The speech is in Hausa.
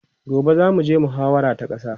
gobe zamu je muhawara ta ƙasa